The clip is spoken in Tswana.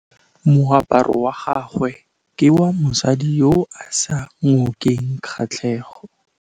Moaparô wa gagwe ke wa mosadi yo o sa ngôkeng kgatlhegô.